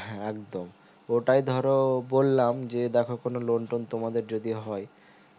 হ্যাঁ একদম ওটাও ধরো বললাম যে দেখো কোনো loan টোন তোমাদের যদি হয়